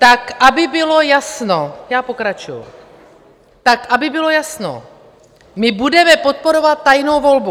Tak aby bylo jasno - já pokračuju: "Tak aby bylo jasno, my budeme podporovat tajnou volbu.